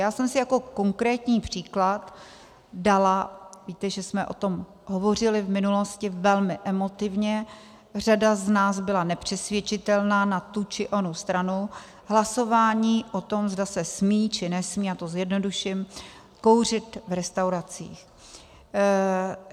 Já jsem si jako konkrétní příklad dala - víte, že jsme o tom hovořili v minulosti velmi emotivně, řada z nás byla nepřesvědčitelná na tu, či onu stranu - hlasování o tom, zda se smí, či nesmí, já to zjednoduším, kouřit v restauracích.